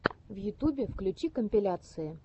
в ютюбе включи компиляции